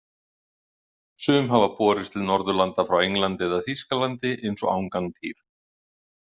Sum hafa borist til Norðurlanda frá Englandi eða Þýskalandi eins og Angantýr.